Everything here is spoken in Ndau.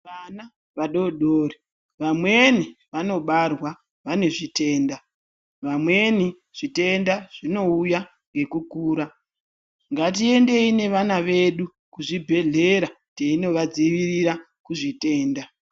Vana vadodori vamweni vanobarwa vane zvitenda, vamweni zvitenda zvinouya ngekukura ngatiendeyi nevana vedu kuzvibhehlera teinovadzivirira kuzvitenda.